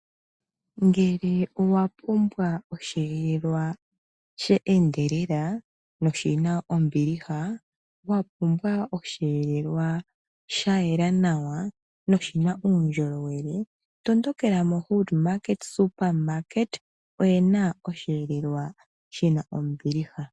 Ngele owa pumbwa osheelelwa shi na ombiliha, wa kumbwa osheelelwa sha yela nawa na oshi na uundjolowele tondokela moHoodMart oye na osheelelwa shi na ombiliha.